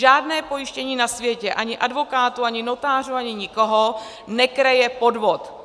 Žádné pojištění na světě, ani advokátů, ani notářů, ani nikoho, nekryje podvod.